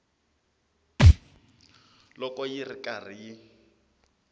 loko yi ri karhi yi